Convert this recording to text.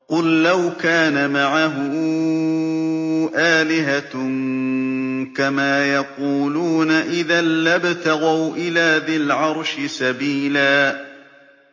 قُل لَّوْ كَانَ مَعَهُ آلِهَةٌ كَمَا يَقُولُونَ إِذًا لَّابْتَغَوْا إِلَىٰ ذِي الْعَرْشِ سَبِيلًا